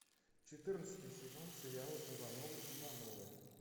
четырнадцатый сезон сериала ивановы ивановы